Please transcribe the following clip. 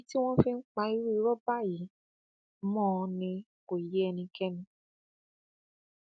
ìdí tí wọn fi ń pa irú irọ báyìí mọ ọn ni kò yé ẹnikẹni